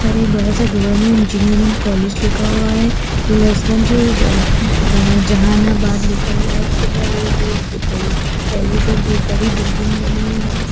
पर एक बड़ा सा गवर्नमेंट इंजीनियरिंग कॉलेज लिखा हुआ है हलषगंज जा जहानाबाद लिखा हुआ है उसके ऊपर कॉलेज है बोहोत बड़ी बिल्डिंग बनी हुई है।